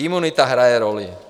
Imunita hraje roli.